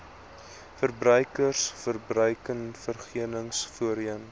verbruikers verbruikersverenigings voorheen